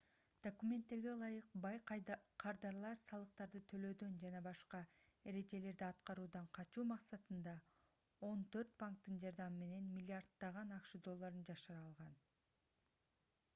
документтерге ылайык бай кардарлар салыктарды төлөөдөн жана башка эрежелерди аткаруудан качуу максатында он төрт банктын жардамы менен миллиарддаган акш долларын жашыра алган